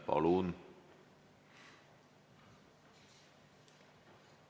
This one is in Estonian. Palun!